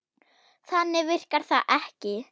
Þannig virkar það ekki.